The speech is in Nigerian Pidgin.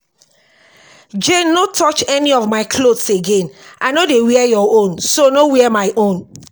jane no touch any of my clothes again. i no dey wear your own so no wear my own